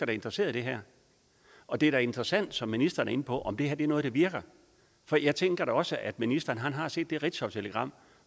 er interesseret i det her og det er da interessant som ministeren er inde på om det her er noget der virker for jeg tænker da også at ministeren har set det ritzautelegram